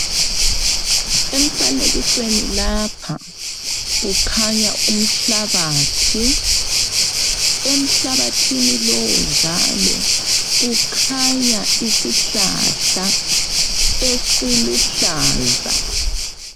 Emfanekisweni lapha, kukhanya umhlabathi, emhlabathini lowu njalo kukhanya isihlahla esiluhlaza.